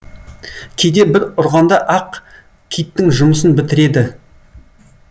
кейде бір ұрғанда ақ киттің жұмысын бітіреді